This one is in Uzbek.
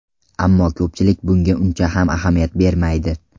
Ammo ko‘pchilik bunga uncha ham ahamiyat bermaydi.